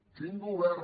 quin govern